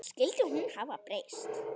Skyldi hún hafa breyst?